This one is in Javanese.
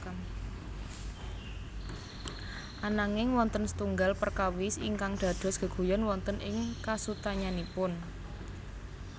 Ananging wonten setunggal perkawis ingkang dados geguyon wonten ing kasunyatanipun